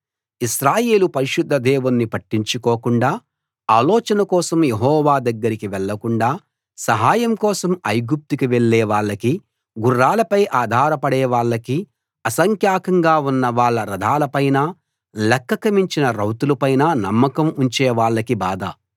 ఇశ్రాయేలు పరిశుద్ధ దేవుణ్ణి పట్టించుకోకుండా ఆలోచన కోసం యెహోవా దగ్గరకి వెళ్ళకుండా సహాయం కోసం ఐగుప్తుకి వెళ్ళే వాళ్ళకీ గుర్రాలపై ఆధార పడేవాళ్ళకీ అసంఖ్యాకంగా ఉన్న వాళ్ళ రథాలపైనా లెక్కకు మించిన రౌతుల పైనా నమ్మకం ఉంచే వాళ్ళకీ బాధ